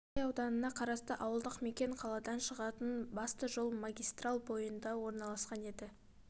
қарасай ауданына қарасты ауылдық мекен қаладан шығатын басты жол магистраль бойында орналасқан еді